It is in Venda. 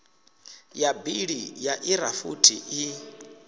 ya bili ya irafuthi i